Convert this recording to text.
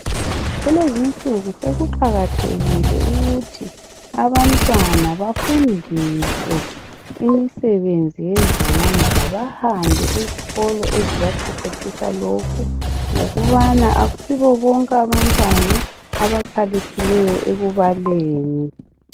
Kulezi insuku sokuqakathekile ukuthi abantwana bafundiswe imisebenzi yezandla bahambe ezikolo ezibaqeqetshisa lokhu ngokubana ayisibo bonke abantwana abakhaliphileyo ekubaleni .